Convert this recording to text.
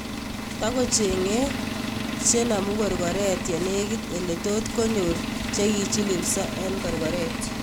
Takocheng�ei chenaamukorkoret yenegit ele tot konyor chekichiliilso en korkoret